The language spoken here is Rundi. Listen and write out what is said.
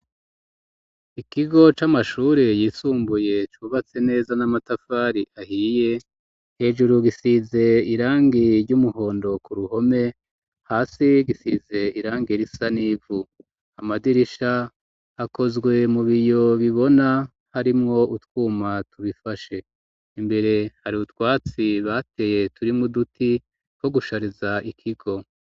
Ikigo c'amashure yisumbuye cubatse neza n'amatafari ahiye hejuru gisize irangi ry'umuhondo ku ruhome hasi gisize irangi r isa n'ivu amadirisha akozwe mu biyo bibona harimwo utwuma tubifashe imbere hari ubutwatsi bateye turimwo duti ko gushariza ikigo.